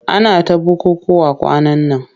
Ana ta bukukkuwa kwanan nan.